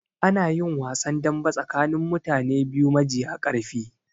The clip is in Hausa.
Anayin wasan dambe tsakanin mutane biyu majiya ƙarfi